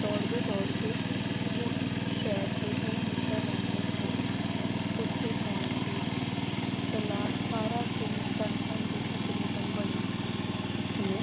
ਦੌੜਦੇ ਦੌੜਦੇ ਉਹ ਇੱਕ ਸ਼ਹਿਰ ਦੇ ਦੋ ਮਿੱਤਰ ਰਹਿੰਦੇ ਸਨ ਉੱਥੇ ਪਹੁੰਚ ਗਈ, ਚਲਾਕ ਸਾਰਾ ਦਿਨ ਤੜਪਣ ਦੀ ਤਕਰੀਬਨ ਬਣੀ ਉਸਨੇ